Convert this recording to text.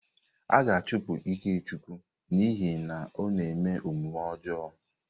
A ga-achụpụ Ikechukwu n'ihi na ọ na-eme omume ọjọọ.